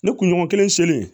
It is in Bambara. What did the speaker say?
Ne kunɲɔgɔn kelen selen